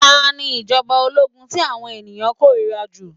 Ta ni ìjọ̀ba ológun tí àwọn ènìyàn kórìíra jù?